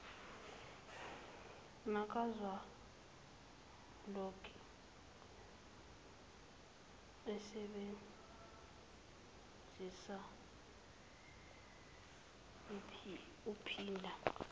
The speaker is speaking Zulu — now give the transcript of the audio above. nakazwelonke useebnzisa uphinda